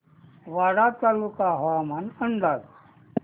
वाडा तालुका हवामान अंदाज